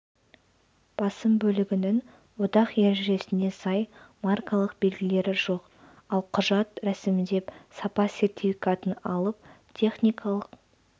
басым бөлігінің одақ ережесіне сай маркалық белгілері жоқ ал құжат рәсімдеп сапа сертификатын алып техникалық